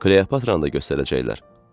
Kleopatranı da göstərəcəklər.